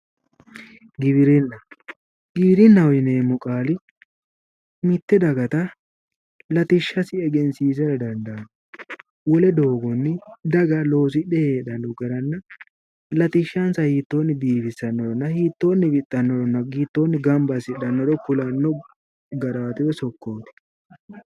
Giwirinna giwirinnaho yineemmo qaali mitte dagata latishshasi egensiisara dandaanno wole doogonni daga loosidhe heedhanno garanna latishshansa hiittoonni biifissannoronna hiittoonni wixxannoronna hiittoonni gamba assitannoro kulanno garaati woyi sokkooti .